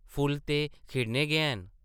फुल्ल ते खिड़ने गै न ।